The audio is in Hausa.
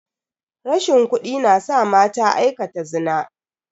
Rashin kudi na sa mata aikata zina.